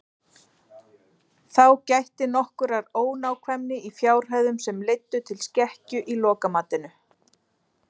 Þá gætti nokkurrar ónákvæmni í fjárhæðum sem leiddu til skekkju í lokamatinu.